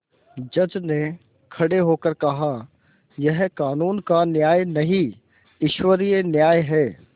जज ने खड़े होकर कहायह कानून का न्याय नहीं ईश्वरीय न्याय है